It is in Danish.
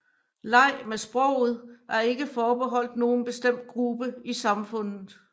Leg med sproget er ikke forbeholdt nogen bestemt gruppe i samfundet